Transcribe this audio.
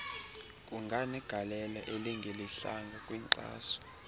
kunganegalelo elingelihlanga kwinkxaso